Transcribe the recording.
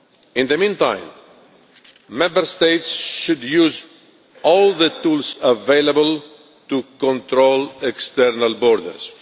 In the meantime, Member States should use all the tools available to control external borders.